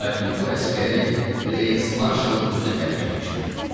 Lakin bu əsgəri reys marşalın özü təbrik etmişdi.